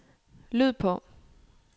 lyd på